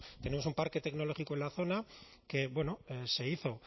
tenemos un parque tecnológico en la zona que se hizo